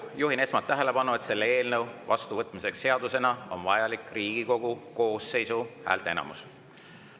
Juhin esmalt tähelepanu, et selle eelnõu vastuvõtmiseks seadusena on vajalik Riigikogu koosseisu häälteenamus.